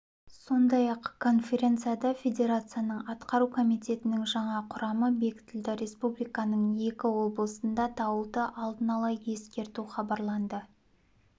сондай-ақ конференцияда федерацияның атқару комитетінің жаңа құрамы бекітілді республиканың екі облысына дауылды алдын ала ескерту хабарланды